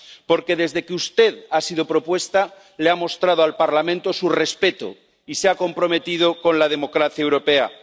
Porque desde que usted ha sido propuesta, le ha mostrado al Parlamento su respeto y se ha comprometido con la democracia europea.